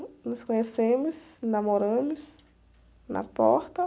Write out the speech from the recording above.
Nos conhecemos, namoramos, na porta.